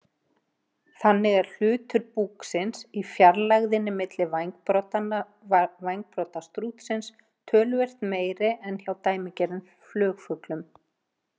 Þannig er hlutur búksins í fjarlægðinni milli vængbrodda strútsins töluvert meiri en hjá dæmigerðum flugfuglum.